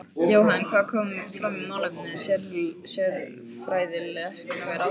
Jóhann, hvað kom fram í málefnum sérfræðilækna við ráðherra?